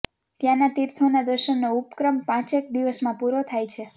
ત્યાનાં તીર્થોના દર્શનનો ઉપક્રમ પાંચેક દિવસમાં પૂરો થાય છે